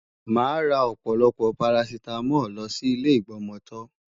Màá ra ọ̀pọ̀lọpọ̀ parasítámọ̀ lọ sí ilé ìgbọmọtọ́.